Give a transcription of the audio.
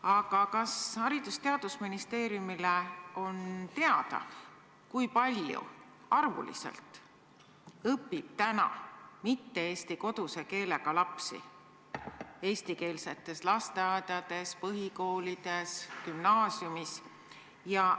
Aga kas Haridus- ja Teadusministeeriumile on teada, kui palju õpib täna mitte-eesti koduse keelega lapsi eestikeelsetes lasteaedades, põhikoolides, gümnaasiumides?